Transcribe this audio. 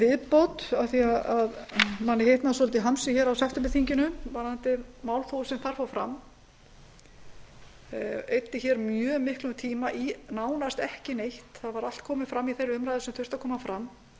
viðbót af því að manni hitnaði svolítið í hamsi á septemberþinginu varðandi málþófið sem þar fór fram maður eyddi mjög miklum tíma í nánast ekki neitt allt var komið fram í þeirri umræðu sem þurfti að koma fram og